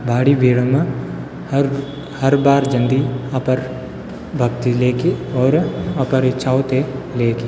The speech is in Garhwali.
भारी भीड़ मा हर हर बार जन्दी अपर भक्ति लेकी और अपर इछाव ते लेकी।